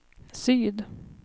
syd